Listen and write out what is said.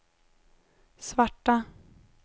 svarta